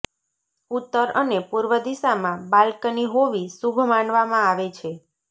ઉત્તર અને પૂર્વ દિશામાં બાલ્કની હોવી શુભ માનવામાં આવે છે